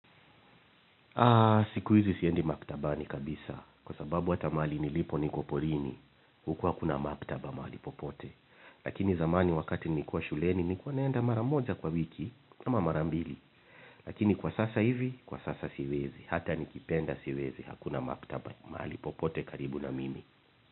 Aa siku hizi siendi maktabani kabisa kwa sababu hata mahali nilipo niko porini huku hakuna maktaba mahali popote lakini zamani wakati nilikuwa shuleni nikuwa naenda mara moja kwa wiki ama mara mbili lakini kwa sasa hivi kwa sasa siwezi hata nikipenda siwezi hukuna maktaba mahali popote karibu na mimi.